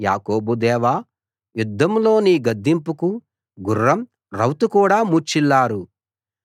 యాకోబు దేవా యుద్ధంలో నీ గద్దింపుకు గుర్రం రౌతు కూడా మూర్ఛిల్లారు